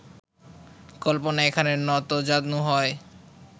কল্পনা এখানে নতজানু হয়